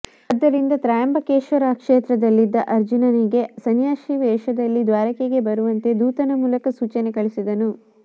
ಆದ್ದರಿಂದ ತ್ರಯಂಬಕೇಶ್ವರ ಕ್ಷೇತ್ರದಲ್ಲಿದ್ದ ಅರ್ಜುನನಿಗೆ ಸನ್ಯಾಸಿ ವೇಷದಲ್ಲಿ ದ್ವಾರಕೆಗೆ ಬರುವಂತೆ ಧೂತನ ಮೂಲಕ ಸೂಚನೆ ಕಳಿಸಿದನು